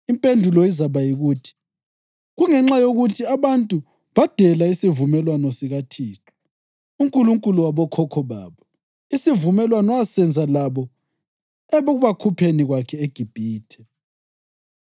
Impendulo izakuba yikuthi: ‘Kungenxa yokuthi abantu badela isivumelwano sikaThixo, uNkulunkulu wabokhokho babo, isivumelwano asenza labo ekubakhupheni kwakhe eGibhithe.